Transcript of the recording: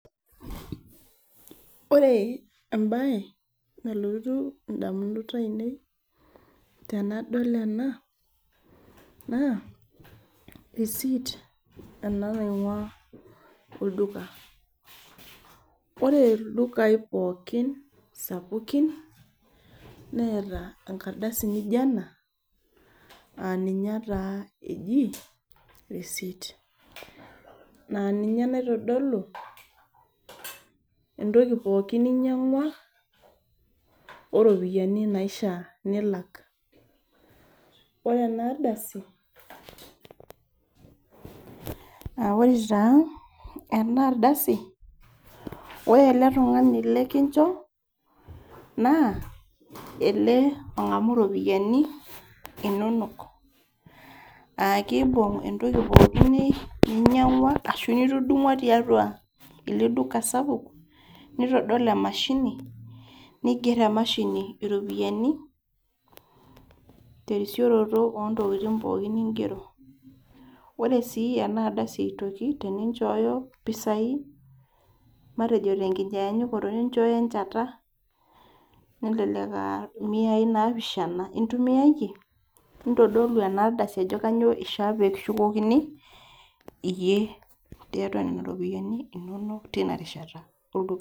Ore ebae nalotu indamunot ainei tenadol ena, naa, risit ena naing'ua olduka. Ore ildukai pookin sapukin, neeta enkardasi nijo ena, aninye taa eji, risit. Naa ninye naitodolu, entoki pookin ninyang'ua, oropiyiani naifaa nilak. Ore enardasi, ah ore taa enardasi, ore ele tung'ani likincho, naa, ele ong'amu ropiyiani, inonok. Akibung' entoki pookin ninyang'ua ashu nitudumua tiatua ele duka sapuk, nitodol emashini, niger emashini iropiyiani, terisioroto ontokiting pookin nigero. Ore si enardasi aitoki, teninchooyo mpisai, matejo tenkinyanyukoto ninchoyo enchata, nelelek ah miai naaapisha intumiayie, nitodolu enardasi ajo kanyioo ishaa pekishukokini, iyie tiatua nena ropiyiani inonok tinarishata olduka.